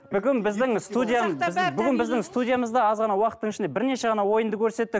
бүгін біздің бүгін біздің студиямызда аз ғана уақыттың ішінде бірнеше ғана ойынды көрсеттік